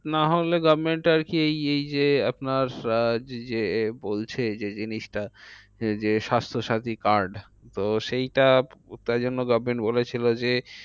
না হলে government আরকি এই এই যে আপনার আহ যে বলছে যে জিনিসটা যে স্বাস্থ্যসাথী card তো সেইটা কোথায় যেন government বলেছিলো যে,